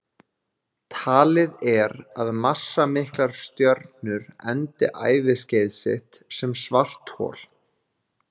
Talið er að massamiklar stjörnur endi æviskeið sitt sem svarthol.